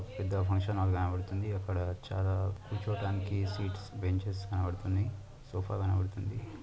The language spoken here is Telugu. పెద్ద ఫంక్షన్ హాల్ కనపడుతుంది అక్కడ చాలా కూర్చోటానికి సీట్స్ బెంచ్స్ కనపడ్తునాయి సోఫా కనపడుతుంది.